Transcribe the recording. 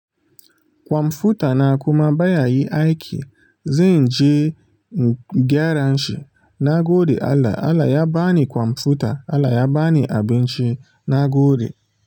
Kwamfuta na kuma baya yi aiki. Zanje gyaran shi. Nagode Allah, Allah ya bani computer Allah ya bani abinci nagode.